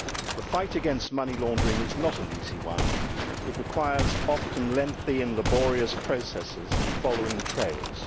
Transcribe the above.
The fight against money laundering is not an easy one it requires often lengthy and laborious processes in following trails